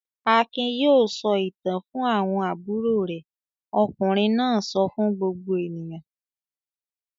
"Akin yóò sọ ìtàn fún àwọn àbúrò rẹ̀!" Ọkùnrin náà sọ fún gbogbo ènìyàn.